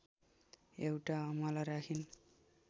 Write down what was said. एउटा अमला राखिन्